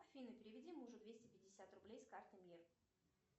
афина переведи мужу двести пятьдесят рублей с карты мир